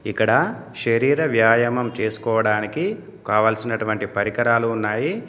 ఇక్కడ శరీర వ్యాయామం చేసుకోవడానికి కావలసినటువంటి పరికరాలు ఉన్నాయి.